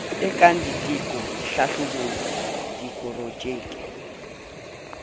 e kang diteko dihlahlobo diporojeke